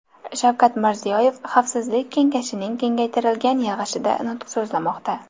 Shavkat Mirziyoyev Xavfsizlik kengashining kengaytirilgan yig‘ilishida nutq so‘zlamoqda.